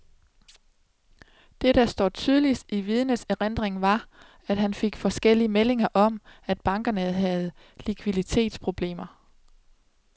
Det der står tydeligst i vidnets erindring var, at han fik forskellige meldinger om, at bankerne havde likviditetsproblemer.